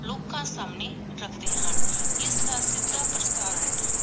ਲੋਕਾ ਸੰਨੀ ਰਖਦੇ ਹਨ ਇਸ ਦਾ ਸਿਧਾ ਪ੍ਰਸਾਰਣ